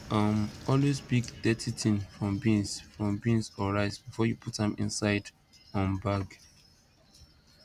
um always pick dirty thing from beans from beans or rice before you put am inside um bag